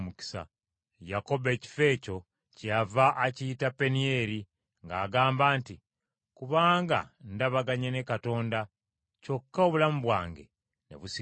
Yakobo ekifo ekyo kyeyava akiyita Penieri, ng’agamba nti, “Kubanga ndabaganye ne Katonda, kyokka obulamu bwange ne busigalawo.”